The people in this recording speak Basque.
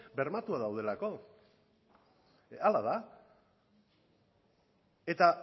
bermatuak daudelako horrela da eta